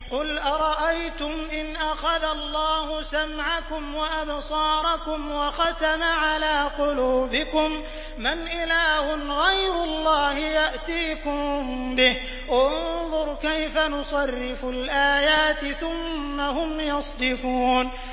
قُلْ أَرَأَيْتُمْ إِنْ أَخَذَ اللَّهُ سَمْعَكُمْ وَأَبْصَارَكُمْ وَخَتَمَ عَلَىٰ قُلُوبِكُم مَّنْ إِلَٰهٌ غَيْرُ اللَّهِ يَأْتِيكُم بِهِ ۗ انظُرْ كَيْفَ نُصَرِّفُ الْآيَاتِ ثُمَّ هُمْ يَصْدِفُونَ